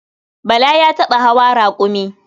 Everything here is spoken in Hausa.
Bala ya taɓa hawa raƙumi.